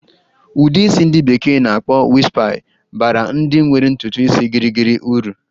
Ụdị isi ndi bekee na-akpọ "wispy" baara ndị nwere ntutu isi gịrịgịrị uru.